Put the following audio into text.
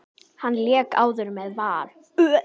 Hann lék áður með Val.